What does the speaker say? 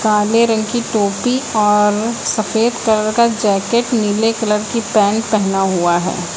काले रंग की टोपी और सफेद कलर का जैकेट नीले कलर की पैंट पहना हुआ है।